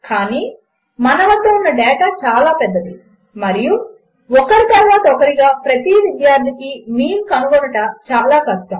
కాని మన వద్ద ఉన్న డేటా చాలా పెద్దది మరియు ఒకరి తరువాత ఒకరిగా ప్రతి విద్యార్థికి మీన్ కనుగొనుట చాలా కష్టము